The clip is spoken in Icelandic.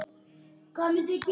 Mamma var svo margt.